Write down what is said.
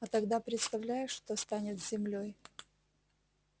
а тогда представляешь что станет с землёй